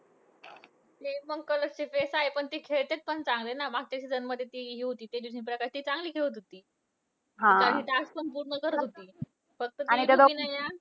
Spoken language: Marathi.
तीपण colors face आहे. पण ती खेळतेत पण चांगले ना! मागच्या season मध्ये ती हि होती तेजस्वी प्रकाश. ती चांगली खेळत होती. आणि task पण पूर्ण करत होती. फक्त ती हि ना रुबिना ना